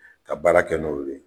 Ka baara kɛ n'olu ye.